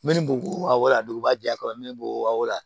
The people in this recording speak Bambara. Min ni bugula duguba jɛ kɔnɔ n'o wale